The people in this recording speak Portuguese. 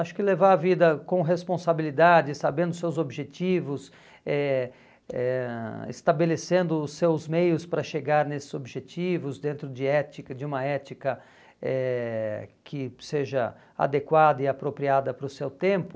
Acho que levar a vida com responsabilidade, sabendo seus objetivos, eh eh ãh estabelecendo os seus meios para chegar nesses objetivos, dentro de ética de uma ética eh que seja adequada e apropriada para o seu tempo.